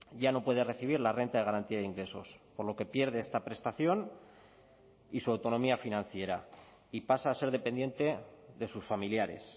ya no puede recibir la renta de garantía de ingresos por lo que pierde esta prestación y su autonomía financiera y pasa a ser dependiente de sus familiares